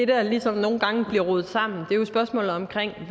det der ligesom nogle gange bliver rodet sammen